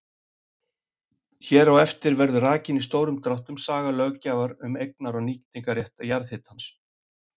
Hér á eftir verður rakin í stórum dráttum saga löggjafar um eignar- og nýtingarrétt jarðhitans.